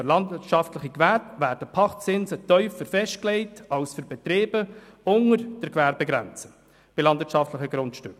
Für landwirtschaftliche Gewerbe werden Pachtzinse tiefer festgelegt als für Betriebe unter der Gewerbegrenze bei landwirtschaftlichen Grundstücken.